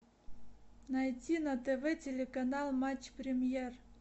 найти на тв телеканал матч премьер